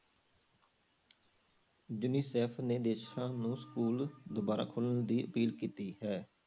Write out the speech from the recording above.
Unicef ਨੇ ਦੇਸਾਂ ਨੂੰ school ਦੁਬਾਰਾ ਖੋਲਣ ਦੀ appeal ਕੀਤੀ ਹੈ।